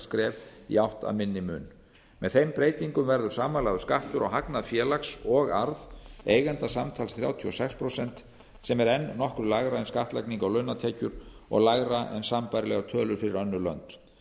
skref í átt að minni mun með þeim breytingum verður samanlagður skattur á hagnað félags og arð eiganda samtals þrjátíu og sex prósent sem er enn nokkru lægra en skattlagning á launatekjur og lægra en sambærilegar tölur fyrir önnur lönd